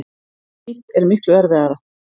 Hitt er miklu erfiðara.